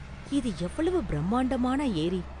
இது எவ்வளவு பிரம்மாண்டமான ஏரி?